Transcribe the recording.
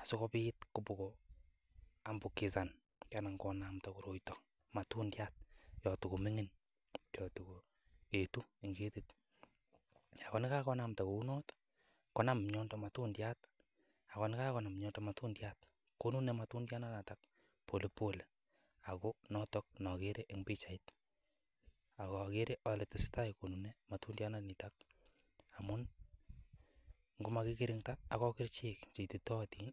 asikobit kobokoambukisan anan konamda koroito matundiat yon togo ming'in yon togu etu en ketit. Ago ye kagonamda kounoto konam miondo matundiat. Ago ye kagonam miondo matundiat, konune matundianoto polepole ago noto nogere en pichait ak agere ale tesetai konune matundyanito amun ngomakikirinda ak kerichek che ititootin